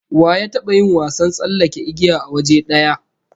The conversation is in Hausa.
Wa ya taba yin wasan tsallake igiya a waje daya?